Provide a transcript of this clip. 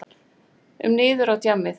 um niður á djammið.